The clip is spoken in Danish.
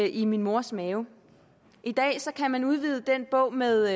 i min mors mave i dag kan man udvide den bog med